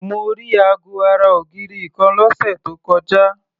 Mo rí aago ara ògiri kan lọ́sẹ̀ tó kọjá.